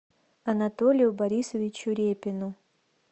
анатолию борисовичу репину